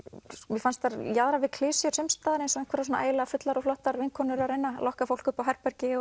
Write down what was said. mér fannst þær jaðra við klisjur sums staðar eins og einhverjar ægilega fullar og flottar vinkonur að reyna að lokka fólk upp á herbergi